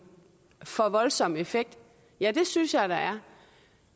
for voldsom effekt ja det synes jeg der er